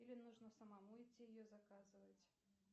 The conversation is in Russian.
или нужно самому идти ее заказывать